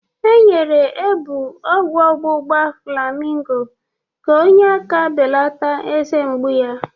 E nyere Ebuu ọgwụ ọgbugba flamingo ka onye aka belata eze mgbu ya